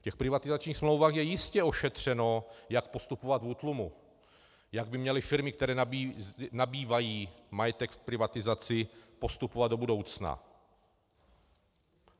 V těch privatizačních smlouvách je jistě ošetřeno, jak postupovat v útlumu, jak by měly firmy, které nabývají majetek v privatizaci, postupovat do budoucna.